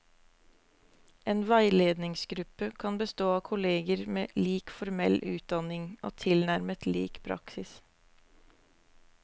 En veiledningsgruppe kan bestå av kolleger med lik formell utdanning og tilnærmet lik praksis.